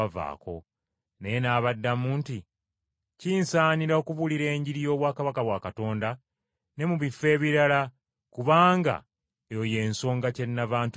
Naye n’abaddamu nti, “Kinsaanira okubuulira Enjiri y’obwakabaka bwa Katonda ne mu bifo ebirala kubanga eyo y’ensonga kyenava ntumibwa.”